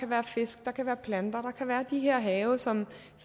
være fisk og planter at kan være de her have som